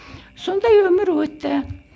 сондай өмір өтті